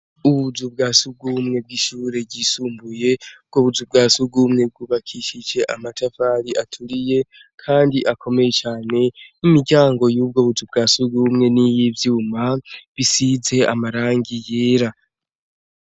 Ubuzu bwasugumwe bw'ishuri ryisumbuye ubwo buzu bwasugumwe bwubakishijwe amatafari aturiye kandi akomeye cane imiryango yubwo buzu bwasugumwe nayivyuma bisize amarangi yera.